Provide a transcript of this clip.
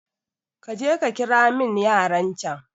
kaje kakiramin yaran can